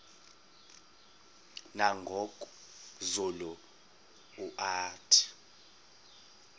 nangoku zulu uauthi